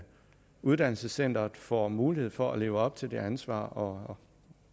uddannelsescenteret får mulighed for at leve op til det ansvar og